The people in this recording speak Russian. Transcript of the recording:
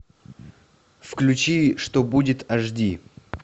включи что будет аш ди